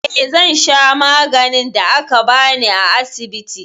Eh, ina shan maganin da aka bani a asibiti.